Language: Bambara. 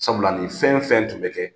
Sabula nin fɛn fɛn tun bɛ kɛ,